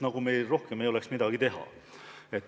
Nagu meil rohkem ei oleks midagi teha.